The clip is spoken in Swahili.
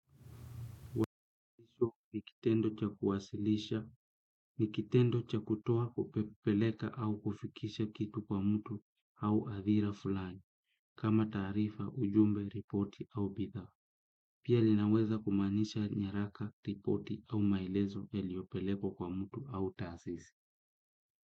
Ni kitendo cha kuwasilisha, ni kitendo cha kutoa kupeleka au kufikisha kitu kwa mtu au hadhira fulani, kama taarifa, ujumbe, ripoti au bidhaa. Pia linaweza kumaanisha nyaraka, ripoti au maelezo yaliyopelekwa kwa mtu au taasisi.